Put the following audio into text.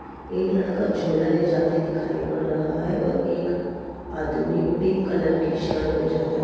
एक लड़का झोला लेजाते दिखाई पड़ रहा है और एक आदमी पिंक कलर की शर्ट में जाता दि --